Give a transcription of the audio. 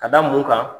Ka da mun kan